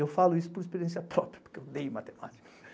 Eu falo isso por experiência própria, porque eu odeio matemática.